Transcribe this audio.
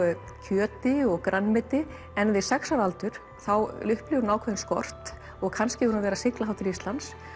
kjöti og grænmeti en við sex ára aldur þá upplifir hún ákveðinn skort og kannski hefur hún verið að sigla til Íslands